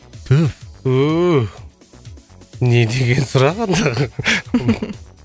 түф не деген сұрақ андағы